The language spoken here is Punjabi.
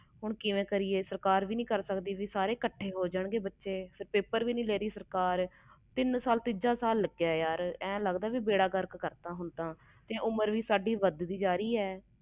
ਹੁਣ ਕਿਵੇਂ ਕਰੀਏ ਸਰਕਾਰ ਵੀ ਨਹੀਂ ਕਰ ਸਕਦੀ ਸਾਰੇ ਇਕੱਠੇ ਹੋ ਜਾਨ ਗਏ ਬੱਚੇ ਪੇਪਰ ਵੀ ਨਹੀਂ ਦੇ ਰਹੀ ਸਰਕਾਰ ਤੀਜਾ ਸਾਲ ਲਗਿਆ ਬੇੜਾ ਗਰਕ ਕਰਤਾ ਸਾਰਾ ਉਮਰ ਵੀ ਵੱਧ ਦੀ ਜਾ ਰਹੀ ਆ